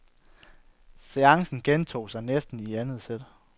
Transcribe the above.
Seancen gentog sig næsten i andet sæt.